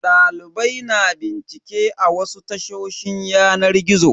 Dalibai na bincike a wasu tashoshin yanar gizo.